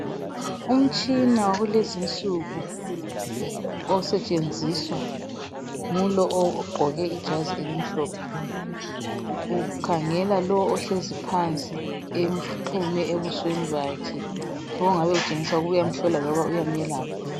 Umtshina wakulezinsuku osetshenziswa ngulo ogqoke ijazi elimhlophe , ukhangela lowo ohlezi phansi emxhume ebusweni bakhe okutshengisa ukuthi uyamhlola loba uyamelapha